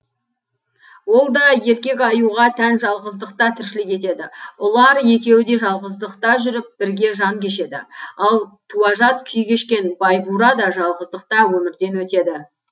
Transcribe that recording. ол да еркек аюға тән жалғыздықта тіршілік етеді ұлар екеуі де жалғыздықта жүріп бірге жан кешеді ал туажат күй кешкен байбура да жалғыздықта өмірден өтеді